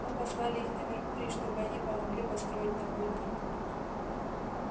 мы послали их на меркурий чтобы они помогли построить там рудник